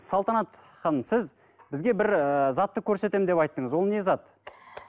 салтанат ханым сіз бізге бір ііі затты көрсетеміз деп айттыңыз ол не зат